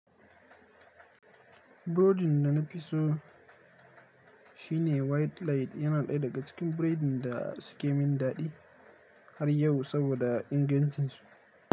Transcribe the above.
Burodin da na fi so, shi ne white light. Yana ɗaya daga cikin biridin da suke min daɗi har yau saboda ingancinsu.